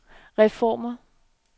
reformer